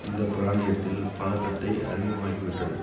இந்த பிராந்தியத்தில் பதட்டத்தை அதிகமாக்கி விட்டது